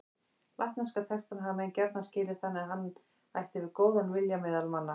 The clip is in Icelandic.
Latneska textann hafa menn gjarna skilið þannig að hann ætti við góðan vilja meðal manna.